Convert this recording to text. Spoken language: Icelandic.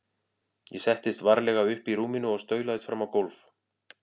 Ég settist varlega upp í rúminu og staulaðist fram á gólf.